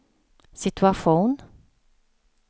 situation